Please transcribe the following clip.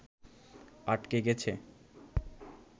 আটকে গেছে